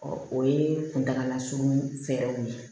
o ye kuntaalasurunnin fɛɛrɛw ye